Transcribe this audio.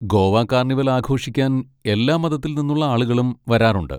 Goa carnival ആഘോഷിക്കാൻ എല്ലാ മതത്തിൽ നിന്നുള്ള ആളുകളും വരാറുണ്ട്.